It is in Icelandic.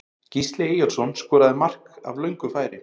Gísli Eyjólfsson skoraði flott mark af löngu færi.